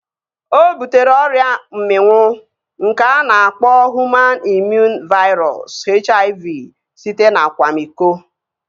O butere ọrịa mminwụ nke a na-akpọ Hụman Imụn Vairọs (HIV) site n'akwamiko